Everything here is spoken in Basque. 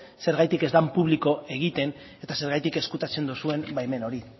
zergatik ez den publiko egiten eta zergatik ezkutatzen duzuen baimen hori